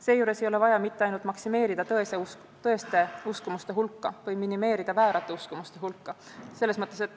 Seejuures ei ole vaja mitte ainult maksimeerida tõeste uskumuste hulka või minimeerida väärate uskumuste hulka.